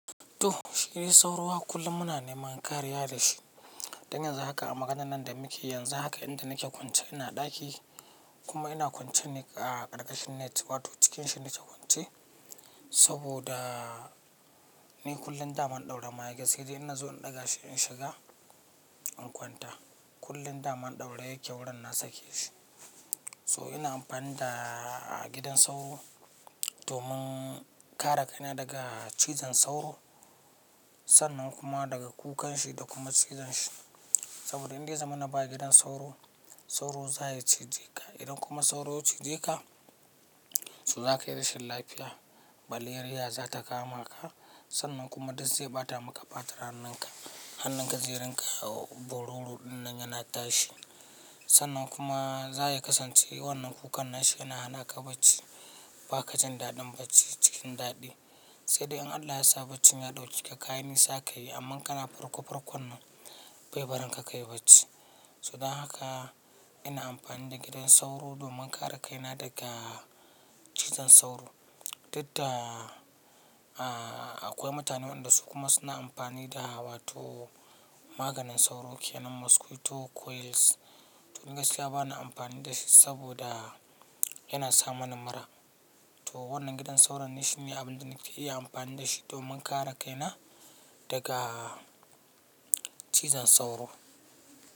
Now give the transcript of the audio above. To, shidai sauro haka kullum muna neman kariya da shi. Don yanzu haka a maganan da muke, yanzu haka inda nake kwance ina ɗaki kuma ina kwance ne a ƙarƙashin net, wato cikin shi nake kwance saboda ni kullum da ban ɗaure ma wake sai dai ina zuwa in ɗaga shi in shiga in kwanta. Kullum daman ɗaure yake wurin na sake shi. So ina amfani da gidan sauro domin kare kaina daga cizon sauro sannan kuma daga kukan shi da kuma cizon shi. Saboda inda zamana ba gidan sauro, sauro za ya cije ka. Idan kuma sauro ya cije ka, so za ka yi rashin lafiya. Maleriya za ta kama ka sannan kuma duk zai ɓata maka fatar hannunka, hannun ka zai rinƙa ka bororo ɗinnan yana tashi. Sannan kuma za ya kasance wannan kukan nashi yana hana ka bacci. Ba ka jin daɗin bacci cikin daɗi. Sai dai in Allah ya sa baccin ya ɗauki ka, kayan nisa ka yi amma kana farko farkon nan bai barin ka kayi bacci. So don haka ina amfani da gidan sauro domin kare kaina daga cizon sauro. Duk da akwai mutane waɗanda su kuma suna amfani da wato maganin sauro kenan mosquito coils. To ni gaskiya bana amfani da shi saboda yana sa mani mura. To wannan gidan sauron ne shi ne abin da nake iya amfani da shi domin kare kaina daga cizon sauro.